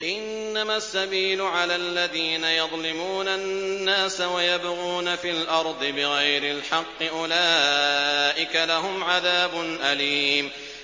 إِنَّمَا السَّبِيلُ عَلَى الَّذِينَ يَظْلِمُونَ النَّاسَ وَيَبْغُونَ فِي الْأَرْضِ بِغَيْرِ الْحَقِّ ۚ أُولَٰئِكَ لَهُمْ عَذَابٌ أَلِيمٌ